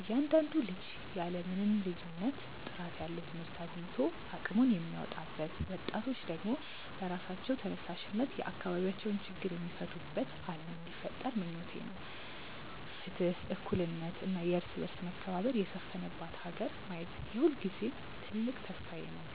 እያንዳንዱ ልጅ ያለ ምንም ልዩነት ጥራት ያለው ትምህርት አግኝቶ አቅሙን የሚያወጣበት፣ ወጣቶች ደግሞ በራሳቸው ተነሳሽነት የአካባቢያቸውን ችግር የሚፈቱበት ዓለም እንዲፈጠር ምኞቴ ነው። ፍትህ፣ እኩልነት እና የእርስ በርስ መከባበር የሰፈነባት ሀገር ማየት የሁልጊዜም ትልቅ ተስፋዬ ነው።